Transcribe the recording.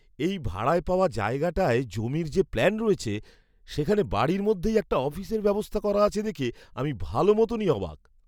এই ভাড়ায় পাওয়া জায়গাটায় জমির যে প্ল্যান রয়েছে, সেখানে বাড়ির মধ্যেই একটা অফিসের ব্যবস্থা করা আছে দেখে আমি ভালো মতনই অবাক!